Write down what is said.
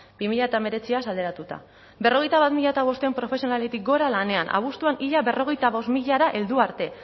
bi mila hemeretziaz alderatuta berrogeita bat mila bostehun profesionaletik gora lanean abuztuan ia berrogeita bost milara heldu arte